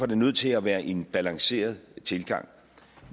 det nødt til at være en balanceret tilgang